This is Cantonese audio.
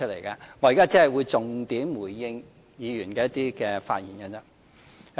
我現在只會重點回應議員的發言而已。